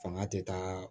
Fanga tɛ taa